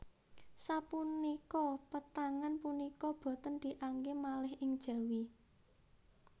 Sapunika pétangan punika boten dianggé malih ing Jawi